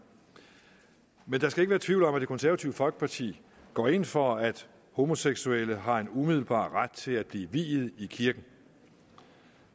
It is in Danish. men der skal ikke være tvivl om at det konservative folkeparti går ind for at homoseksuelle har en umiddelbar ret til at blive viet i kirken